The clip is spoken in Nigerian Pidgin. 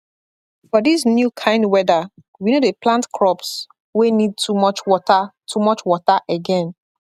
for this new kind weather we no dey plant crops wey need too much water too much water again